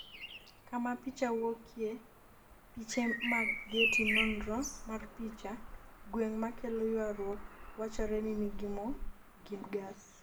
kama picha wuokye, piche mag getty nonro mar picha, gweng ma kelo ywaruok wachore ni nigi mo gi gas